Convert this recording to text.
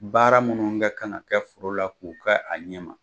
Baara minnu kɛ kan ka kɛ foro la k'u kɛ a ɲɛma